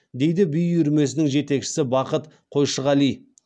дейді би үйірмесінің жетекшісі бақыт қойшығали